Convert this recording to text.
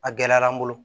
A gɛlɛyara n bolo